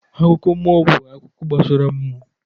Akụkọ mmụọ bụ akụkọ gbasara mmụọ.